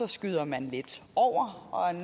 skyder man lidt over